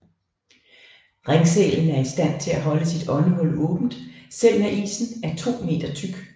Ringsælen er i stand til at holde sit åndehul åbent selv når isen er to meter tyk